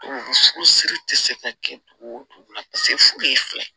Furusiri tɛ se ka kɛ dugu wo dugu la furu ye fila ye